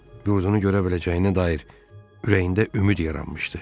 Yurdunu görə biləcəyinə dair ürəyində ümid yaranmışdı.